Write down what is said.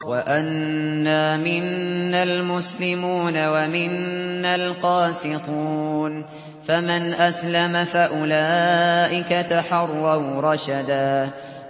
وَأَنَّا مِنَّا الْمُسْلِمُونَ وَمِنَّا الْقَاسِطُونَ ۖ فَمَنْ أَسْلَمَ فَأُولَٰئِكَ تَحَرَّوْا رَشَدًا